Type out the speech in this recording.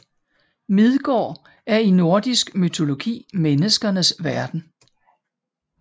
Midgård er i nordisk mytologi menneskenes verden